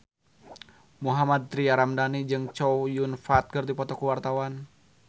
Mohammad Tria Ramadhani jeung Chow Yun Fat keur dipoto ku wartawan